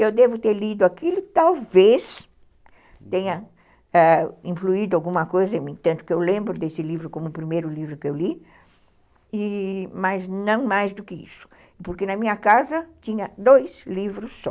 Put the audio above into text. Eu devo ter lido aquilo que talvez tenha ãh influído alguma coisa em mim, tanto que eu lembro desse livro como o primeiro livro que eu li, e... mas não mais do que isso, porque na minha casa tinha dois livros só.